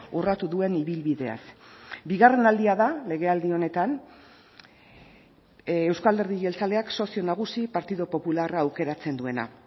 urratu duen ibilbideaz bigarren aldia da legealdi honetan euzko alderdi jeltzaleak sozio nagusi partidu popularra aukeratzen duena